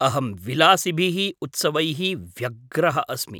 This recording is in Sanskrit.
अहं विलासिभिः उत्सवैः व्यग्रः अस्मि।